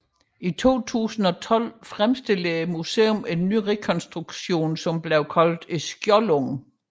I 2012 fremstillede museet en ny rekonstruktion kaldet Skjoldungen